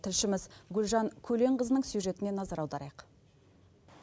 тілшіміз гүлжан көленқызының сюжетіне назар аударайық